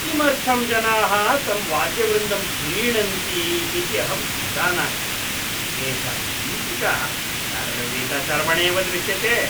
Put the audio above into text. किमर्थं जनाः तं वाद्यवृन्दं प्रीणन्ति इति अहं न जानामि। तेषां गीतिका चर्वितचर्वणेव दृश्यते।